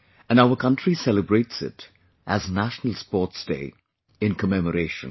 And our country celebrates it as National Sports Day, in commemoration